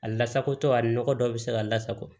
A lasagotɔ a ni nɔgɔ dɔw bɛ se ka lasago